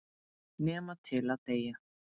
Nema til að deyja.